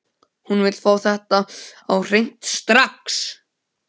Hún vill fá þetta á hreint strax!